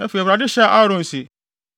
Afei, Awurade hyɛɛ Aaron se,